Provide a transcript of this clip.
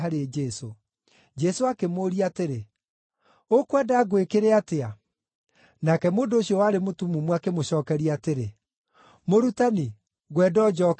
Jesũ akĩmũũria atĩrĩ, “Ũkwenda ngwĩkĩre atĩa?” Nake mũndũ ũcio warĩ mũtumumu akĩmũcookeria atĩrĩ, “Mũrutani, ngwenda o njooke kuona.”